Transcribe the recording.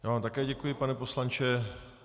Já vám také děkuji, pane poslanče.